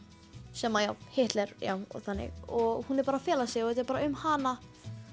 sem að já Hitler og þannig og hún er bara að fela sig og þetta er bara um hana